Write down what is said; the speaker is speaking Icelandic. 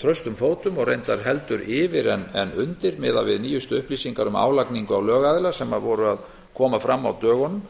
traustum fótum og reyndar heldur yfir en undir miðað við nýjustu upplýsingar um álagningu á lögaðila sem voru að koma fram á dögunum